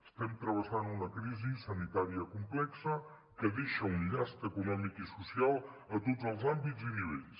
estem travessant una crisi sanitària complexa que deixa un llast econòmic i social en tots els àmbits i nivells